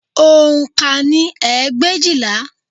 Oǹkà ni ẹgbẹ̀éjìlá